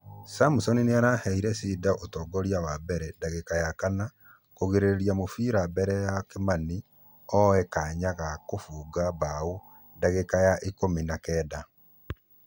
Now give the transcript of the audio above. Samson nĩaraheire cider ũtongoria wa mbere dagika yakana nĩkũgirĩrĩria mũfira mbere ya kĩmani oye kanya ga kũfũga bao dagĩka ya ikũmi na kenda.